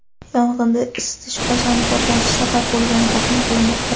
Yong‘inga isitish qozoni portlashi sabab bo‘lgani taxmin qilinmoqda.